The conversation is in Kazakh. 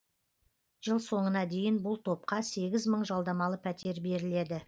жыл соңына дейін бұл топқа сегіз мың жалдамалы пәтер беріледі